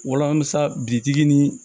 Wala musa bitigi ni